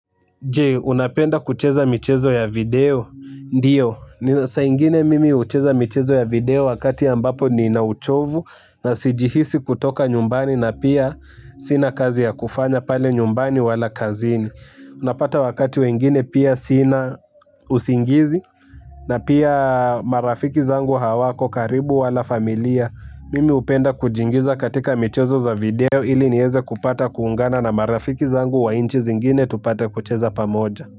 Jee, unapenda kucheza michezo ya video? Ndiyo, sa ingine mimi hucheza michezo ya video wakati ambapo niinauchovu na sijihisi kutoka nyumbani na pia sina kazi ya kufanya pale nyumbani wala kazini. Unapata wakati wengine pia sina usingizi na pia marafiki zangu hawako karibu wala familia mimi upenda kujingiza katika michezo za video ili niweze kupata kuungana na marafiki zangu wa nchi zingine tupata kucheza pamoja.